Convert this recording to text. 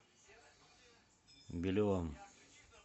белевым